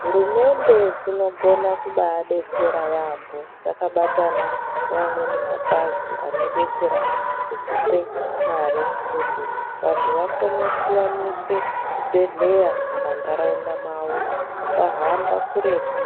Hurumende dzinogona kubadetsera yaambo dzakabatana neamweni mapazi anodetsera ngekupe mare kuti vantu vakone kuwaniswe zvibhedhleya mumandaraunda mavo vasahamba kuretu